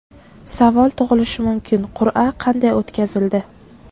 Savol tug‘ilishi mumkin: qur’a qanday o‘tkazildi?